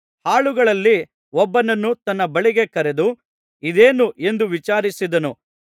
ಆಳುಗಳಲ್ಲಿ ಒಬ್ಬನನ್ನು ತನ್ನ ಬಳಿಗೆ ಕರೆದು ಇದೇನು ಎಂದು ವಿಚಾರಿಸಿದನು